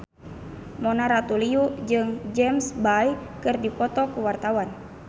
Mona Ratuliu jeung James Bay keur dipoto ku wartawan